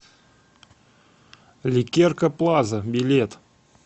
ликерка плаза билет